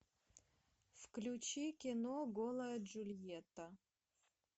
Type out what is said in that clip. включи кино голая джульетта